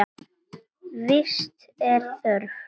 Vits er þörf